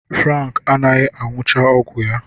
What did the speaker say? Frank anaghị aṅụchaọgwụ ya